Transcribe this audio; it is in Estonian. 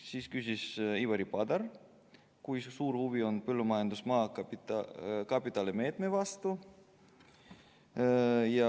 Siis küsis Ivari Padar, kui suur huvi on põllumajandusmaa kapitalimeetme vastu.